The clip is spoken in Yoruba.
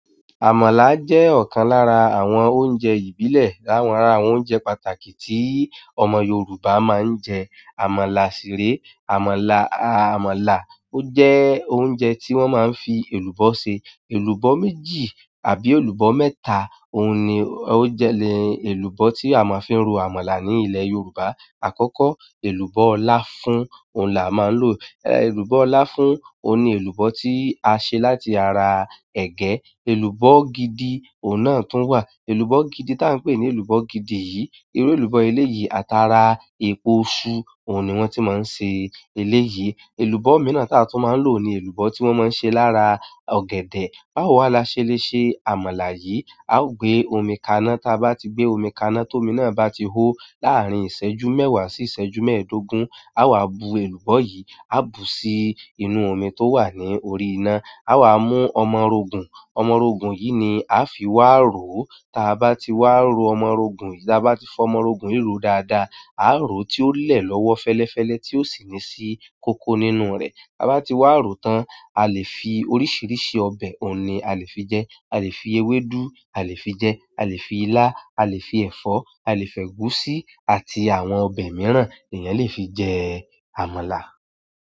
Àmàlà jẹ́ ọ̀kan lára àwọn oúnjẹ ìbílẹ̀. Lára ara àwọn oúnjẹ pàtàkì tí ọmọ Yorùbá máa ń jẹ. Àmàlà sìrè, àmàlà, àmàlà ó jẹ́ oúnjẹ tí wọ́n máa ń fi èlùbọ́ ṣe. Èlùbọ́ méjì àbí èlùbọ́ mẹ́ta, òun ni ó jẹ ni èlùbọ́ tí a máa fi ń ro àmàlà ní ilẹ̀ Yorùbá. Àkọ́kọ́, èlùbọ́ láfún òhun làá máa n lò. Èlùbọ́ láfún òhun ni èlùbọ́ tí a ṣe láti ara ẹ̀gẹ́. Èlùbọ́ gidi, òun náà tún wà. Èlùbọ́ gidi ta n pé ní èlùbọ́ gidi yìí, irú èlùbọ́ eléyìí, àtàrà èpo iṣú òun ni wọ́n tí máa ń ṣe eléyìí. Elubo miran ti a tun ma n lo ni elubo ti won maa n se lára ọ̀gẹ̀dẹ̀ báwo wàá la ṣe lè ṣe àmàlà yìí? A ó gbé omi kaná, tí a bá ti gbé omi kaná tó mi náà bá ti hó, láàárín ìṣẹ́jú mẹ́wàá sí ìṣẹ́jú mẹ́ẹ̀ẹ́dógún. A wà á bu èlùbọ́ yìí, a bu sí inú omi tó wà ní orí iná. A wà á mú ọmọrogùn. Ọmọrogùn yìí ni a fi wáà ro. Tí a bá ti wáà ro ọmọrogùn yìí, tí a bá ti fọ ọmọrogùn yìí ro dáadáa, a rò ó tí ó lè lọ́wọ́ fẹ́lẹ́fẹ́lẹ́ tí ó sì ní sì kóko nínú rẹ̀. Bá ti wáà ro tán, a lè fi oríṣìíríṣìí ọbẹ̀ òhun ni a lè fi jẹ. A lè fi ewédú a lè fi jẹ, a lè fi ilá, a lè fi ẹ̀fọ́, a lè fi ẹ̀gúsí àti àwọn ọbẹ̀ mìíràn èèyàn lè fi jẹ àmàlà.